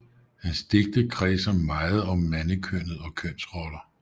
Hans digte kredser meget om mandekønnet og kønsroller